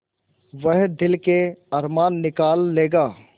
वह दिल के अरमान निकाल लेगा